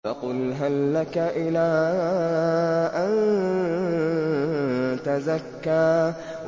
فَقُلْ هَل لَّكَ إِلَىٰ أَن تَزَكَّىٰ